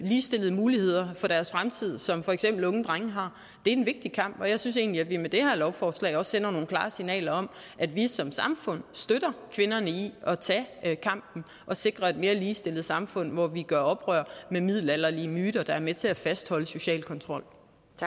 ligestillede mulighed for deres fremtid som for eksempel unge drenge har er en vigtig kamp jeg synes egentlig at vi med det her lovforslag også sender nogle klare signaler om at vi som samfund støtter kvinderne i at tage kampen og sikrer et mere ligestillet samfund hvor vi gør op med middelalderlige myter der er med til at fastholde social kontrol